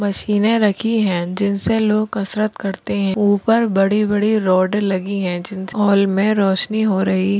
मशीने रखी है। जिनसें लोग कसरत करते है। ऊपर बड़ी बड़ी रॉड लगी है। जिम के हॉल मे रोशनी हो रही--